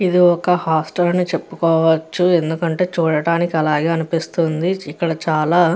ఇది ఒక హాస్టల్ అని చెప్పుకోవచ్చు ఎందుకంటె చూడడానికి అలాగే అనిపిస్తుంది ఇక్కడ చాలా --